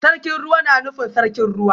Sarkin Ruwa na nufin Sarkin Ruwa